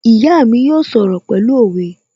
My mother will speak in proverbs